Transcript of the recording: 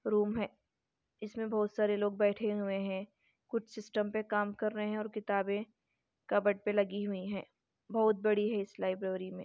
room है इसमें बहुत सारे लोग बैठे हुए है कुछ सिस्टम पे काम कर रहे है और किताबे कप्बर्ड पे लगी हुई है बहुत बड़ी है इस लाइब्रेरी में--